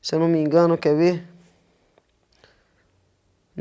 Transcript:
se eu não me engano, quer ver?